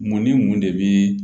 Mun ni mun de bɛ